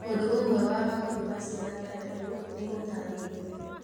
O ũndũ ũmwe wa maũndũ macio matandatũ nĩ ũtaarĩirio.